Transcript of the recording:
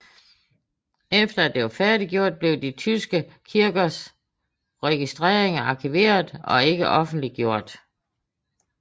Efter at det var færdiggjort blev de tyske kirkers registreringer arkiveret og ikke offentliggjort